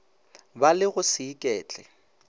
ba le go se iketle